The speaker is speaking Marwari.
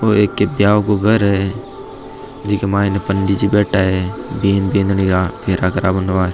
ये बियाव को घर है जीके मायने पंडित जी बैठा है बीन बींदणी का फेरा करावन वास्ते।